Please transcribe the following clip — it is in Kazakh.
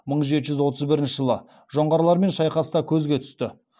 мың жеті жүз он бірінші жылы жоңғарлармен шайқаста көзге түсті